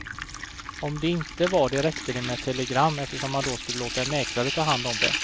Om de inte var det räckte det med ett telegram, eftersom han då skulle låta en mäklare ta hand om det.